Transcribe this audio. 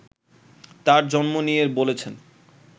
তার জন্ম নিয়ে বলেছেন